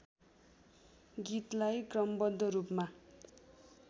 गीतलाई क्रमबद्ध रूपमा